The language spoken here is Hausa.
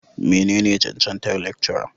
menene cancantar Lecturer?